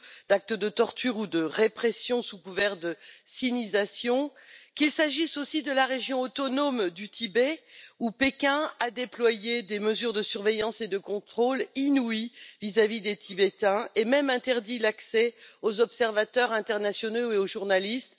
actes de torture ou de répression, sous couvert de sinisation, ou qu'il s'agisse de la région autonome du Tibet, où Pékin a déployé des mesures de surveillance et de contrôle inouïes vis à vis des Tibétains et même interdit l'accès aux observateurs internationaux et aux journalistes.